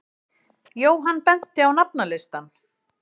Jóhann benti á nafnalistann.